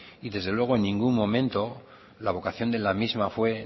y desde luego en ningún momento la vocación de la misma